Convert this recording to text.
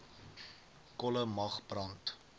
kolle mag brand